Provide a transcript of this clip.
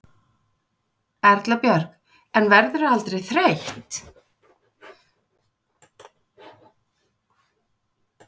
Erla Björg: En verðurðu aldrei þreytt?